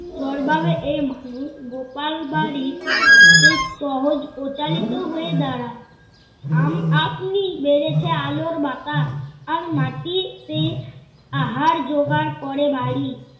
চরভাবে এই মানুষ গোপালবাড়ির অতি সহজ প্রচালিত হয়ে দাড়ায় আম~ আপনিই বেড়েছে আলোর বাতাস। আর, মাটিতে আহার যোগার করে বাড়ি